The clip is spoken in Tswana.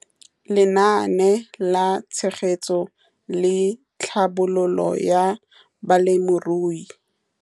Lenaane la Tshegetso le Tlhabololo ya Balemirui.